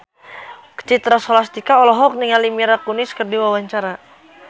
Citra Scholastika olohok ningali Mila Kunis keur diwawancara